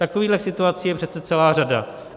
Takovýchhle situací je přece celá řada.